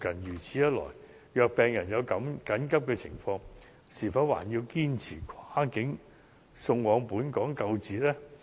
如此一來，如果病人有緊急情況，是否還要堅持跨境送往本港救治呢？